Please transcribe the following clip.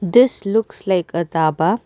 this looks like a dhaba.